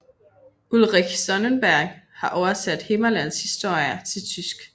Ulrich Sonnenberg har oversat Himmerlandshistorier til tysk